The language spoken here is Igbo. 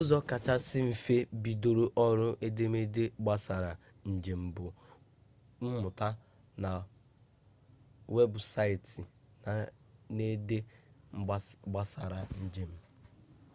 ụzọ kachasị mfe ibido ọrụ edemede gbasara njem bụ ịmụta na webụsaịtị na-ede gbasara njem